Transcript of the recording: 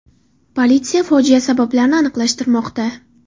Politsiya fojia sabablarini aniqlashtirmoqda.